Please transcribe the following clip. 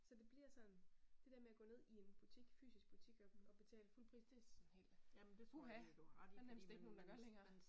Så det bliver sådan det der med og gå ned i en butik fysisk butik og betale fuld pris det sådan helt uha der er nærmest ikke nogen der gør længere